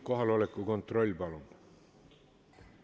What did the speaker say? Kohaloleku kontroll, palun!